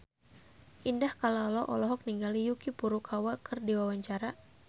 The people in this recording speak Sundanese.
Indah Kalalo olohok ningali Yuki Furukawa keur diwawancara